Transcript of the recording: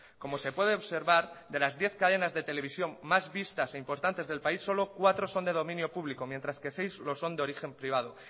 como se puede observar de las diez cadenas de televisión más vistas e importantes del país solo cuatro son de dominio público mientras que seis lo son de origen privado